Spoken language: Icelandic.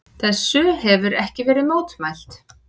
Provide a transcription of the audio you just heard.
Þessu hefir ekki verið mótmælt.